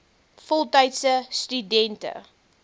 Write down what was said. voltydse stu dente